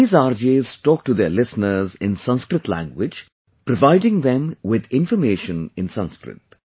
These RJs talk to their listeners in Sanskrit language, providing them with information in Sanskrit